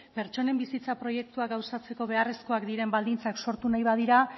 pertsonen bizitza proiektuak gauzatzeko beharrezkoak diren baldintzak sortu nahi badira